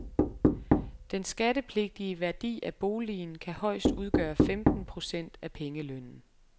Den skattepligtige værdi af boligen kan højst udgøre femten procent af pengelønnen.